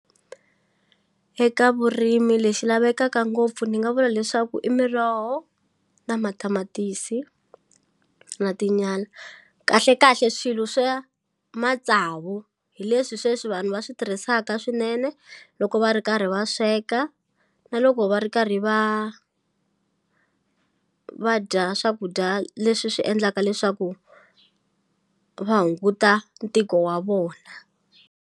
Eka vurimi lexi lavekaka ngopfu ni nga vula leswaku i miroho na matamatisi na tinyala kahle kahle swilo swa matsavu hi leswi sweswi vanhu va swi tirhisaka swinene loko va ri karhi va sweka na loko va ri karhi va va dya swakudya leswi swi endlaka leswaku va hunguta ntiko wa vona.